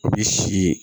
O bi si